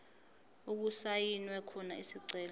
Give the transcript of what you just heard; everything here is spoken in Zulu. okusayinwe khona isicelo